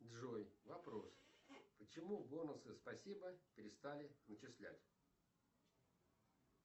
джой вопрос почему бонусы спасибо перестали начислять